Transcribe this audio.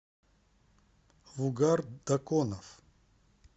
вугар даконов